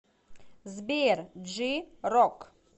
сбер джи рок